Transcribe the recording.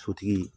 Sotigi